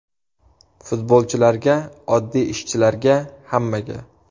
Futbolchilarga, oddiy ishchilarga, hammaga!